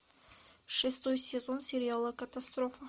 шестой сезон сериала катастрофа